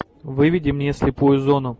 выведи мне слепую зону